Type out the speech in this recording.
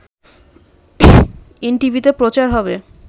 এনটিভিতে প্রচার হবে